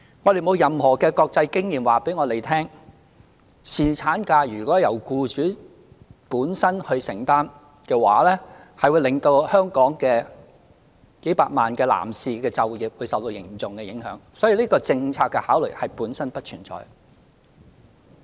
我們沒有任何國際經驗顯示，如果由僱主本身承擔侍產假薪酬的話，會令香港數百萬男士的就業受到嚴重的影響，所以這項政策的考慮本身不存在。